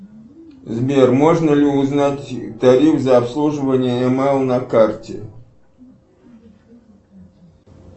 сбер можно ли узнать тариф за обслуживание емейл на карте